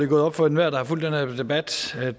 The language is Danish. gået op for enhver der har fulgt den her debat at